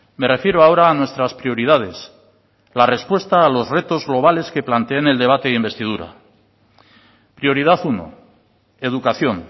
me refiero ahora a nuestras prioridades la respuesta a los retos globales que planteé en el debate de investidura prioridad uno educación